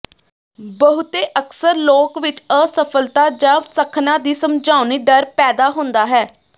ਬਹੁਤੇ ਅਕਸਰ ਲੋਕ ਵਿਚ ਅਸਫਲਤਾ ਜ ਸੱਖਣਾ ਦੀ ਸਮਝਾਉਣੀ ਡਰ ਪੈਦਾ ਹੁੰਦਾ ਹੈ